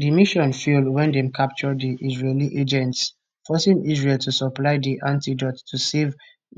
di mission fail wen dem capture di israeli agents forcing israel to supply di antidote to save